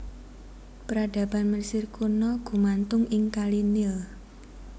Peradaban Mesir Kuna gumantung ing kali Nil